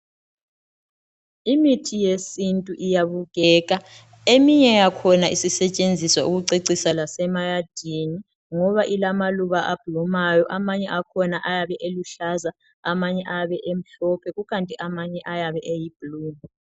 Imithi yesintu iyabukeka eminye yakhona isisetshenziswa ukucecisa lasemayadini ngoba ilamaluba aphumayo. Amanye akhona ayabe eluhlaza, amanye ayabe emhlophe, kukanti amanye ayabe eluhlaza okwesibhakabhaka.